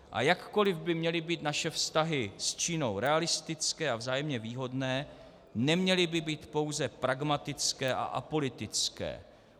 A jakkoli by měly být naše vztahy s Čínou realistické a vzájemně výhodné, neměly by být pouze pragmatické a apolitické.